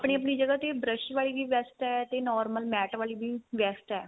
ਆਪਣੀ ਜਗ੍ਹਾ ਤੇ brush ਵਾਲੀ ਵੀ best ਏ ਤੇ normal mat ਵਾਲੀ ਵੀ best ਏ